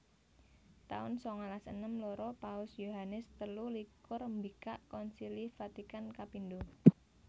taun sangalas enem loro Paus Yohanes telu likur mbikak Konsili Vatikan kapindho